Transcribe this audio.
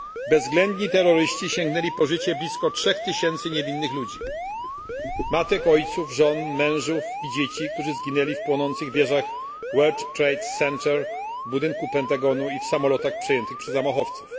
Bezwzględni terroryści sięgnęli po życie blisko 3000 niewinnych ludzi matek, ojców, żon, mężów i dzieci, którzy zginęli w płonących wieżach World Trade Center, w budynku Pentagonu i w samolotach przejętych przez zamachowców.